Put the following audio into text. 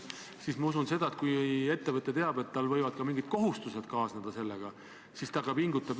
Jah, varem oli see riigikaitsekomisjonile esitatud, aga väliskomisjon sai veel lisaülevaate.